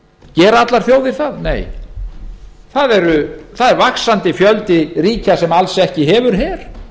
gera allar þjóðir það nei það er vaxandi fjöldi ríkja sem hefur ekki her